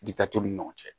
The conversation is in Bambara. Gita t'u ni ɲɔgɔn cɛ